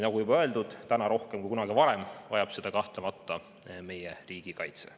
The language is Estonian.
Nagu juba öeldud, täna rohkem kui kunagi varem vajab seda kahtlemata meie riigikaitse.